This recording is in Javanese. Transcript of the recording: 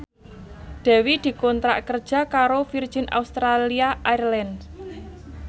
Dewi dikontrak kerja karo Virgin Australia Airlines